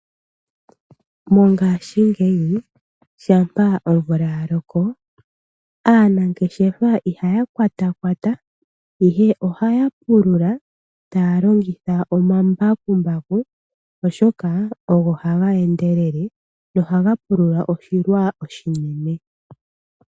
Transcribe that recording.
Mongaashi ngeyi shampaomvula yaloko aanangeshefa ihaya kwata kwata ihe ohaya pulula taya longitha omambakumbaku oshoka ohaga endelele nohaga pulula oshilwa oshinene.